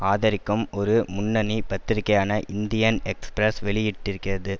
ஆதரிக்கும் ஒரு முன்னணி பத்திரிகையான இந்தியன் எக்ஸ்பிரஸ் வெளியிட்டிருக்கிறது